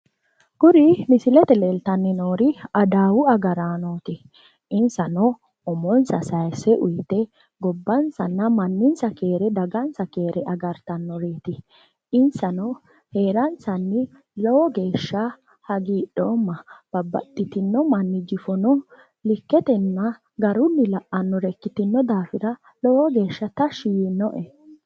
Kuri misilete leeltanni noori adawu agarranoti, insano umonsa sayise uyite gobbansa manninsa keere agartanoreti insa la"ayanni lowo geehsha tashshi yiinoe ,insano mannu qooso la"anore ikkitino daafira lowo geeshsha tashshi yiinoe